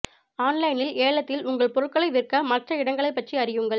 ஆன்லைனில் ஏலத்தில் உங்கள் பொருட்களை விற்க மற்ற இடங்களைப் பற்றி அறியுங்கள்